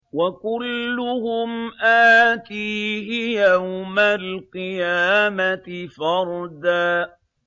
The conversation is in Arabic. وَكُلُّهُمْ آتِيهِ يَوْمَ الْقِيَامَةِ فَرْدًا